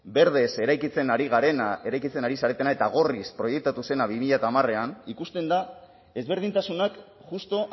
berdez eraikitzen ari garena eraikitzen ari zaretena eta gorriz proiektatu zena bi mila hamarrean ikusten da ezberdintasunak justu